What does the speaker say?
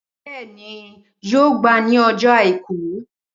Bẹẹni yóò gba ni ọjọ àìkú.